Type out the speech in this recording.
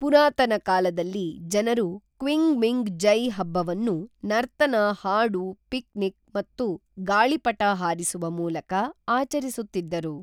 ಪುರಾತನ ಕಾಲದಲ್ಲಿ ಜನರು ಕ್ವಿಂಗ್ಮಿಂಗ್ ಜೈ ಹಬ್ಬವನ್ನು ನರ್ತನ ಹಾಡು ಪಿಕ್ನಿಕ್ ಮತ್ತು ಗಾಳಿಪಟ ಹಾರಿಸುವ ಮೂಲಕ ಆಚರಿಸುತ್ತಿದ್ದರು